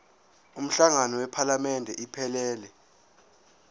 umhlangano wephalamende iphelele